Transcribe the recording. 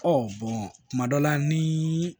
kuma dɔw la ni